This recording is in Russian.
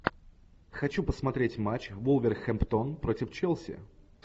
хочу посмотреть матч вулверхэмптон против челси